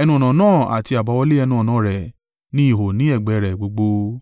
Ẹnu-ọ̀nà náà àti àbáwọlé ẹnu-ọ̀nà rẹ̀ ní ihò ní ẹ̀gbẹ́ rẹ̀ gbogbo.